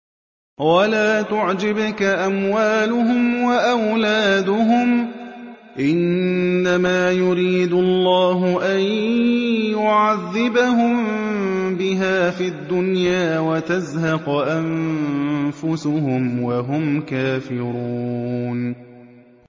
وَلَا تُعْجِبْكَ أَمْوَالُهُمْ وَأَوْلَادُهُمْ ۚ إِنَّمَا يُرِيدُ اللَّهُ أَن يُعَذِّبَهُم بِهَا فِي الدُّنْيَا وَتَزْهَقَ أَنفُسُهُمْ وَهُمْ كَافِرُونَ